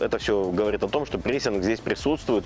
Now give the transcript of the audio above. это все говорит о том что прессинг здесь присутствует